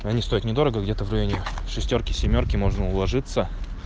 они стоят недорого где-то в районе шестёрки семёрки можно уложиться